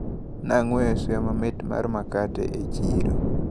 Nang`weyo suya mamit mar makate e chiro.